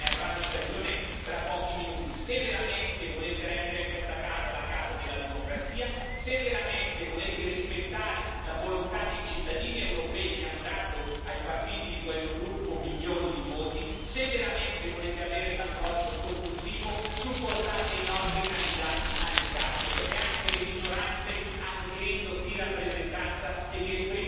Se veramente volete rendere questa Assemblea la casa della democrazia, se veramente volete rispettare la volontà dei cittadini europei che hanno dato ai partiti di questo gruppo milioni di voti, se veramente volete avere un approccio costruttivo, supportate i nostri candidati alle cariche perché anche le minoranze hanno diritto di rappresentanza e di esprimere le loro idee all'interno di questo Parlamento.